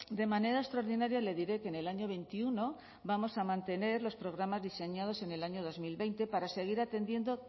de manera extraordinaria le diré que en el año veintiuno vamos a mantener los programas diseñados en el año dos mil veinte para seguir atendiendo